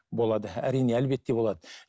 болады әрине әлбетте болады